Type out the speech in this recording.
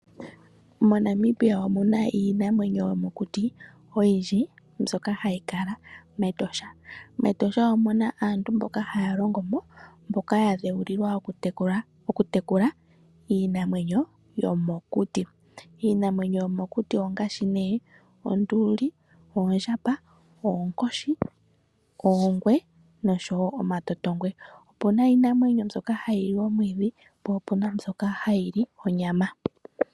MoNamibia omuna iinamwenyo oyindji mbyoka hayi kala mEtosha. MEtosha ohamu kala aantu haya longo mo, mboka ya dheulilwa okutekula iinamwenyo yomokuti. Iinamwenyo yomokuti ongaashi nee, oonduli, oondjamba, oonkoshi, oongwe, noshowo omatotongwe. Opuna iinamwenyo mboka hayili omwiidhi, po opuna mbyoka hayi li onyama.